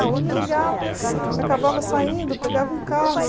Alguém me ligava, acabava saindo, pegava um carro.